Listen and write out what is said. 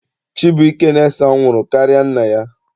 Chibuike na-ese anwụrụ karịa nna ya.